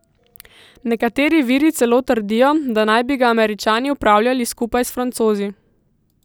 Nekateri viri celo trdijo, da naj bi ga Američani upravljali skupaj s Francozi.